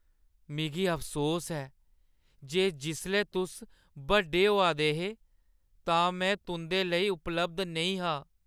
मिगी अफसोस ऐ जे जिसलै तुस बड्डे होआ दे हे तां मैं तुंʼदे लेई उपलब्ध नेईं हा ।